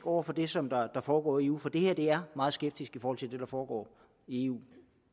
over for det som foregår i eu for det her meget skeptisk i forhold til det der foregår i eu